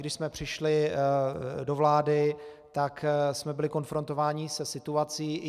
Když jsme přišli do vlády, tak jsme byli konfrontováni se situací.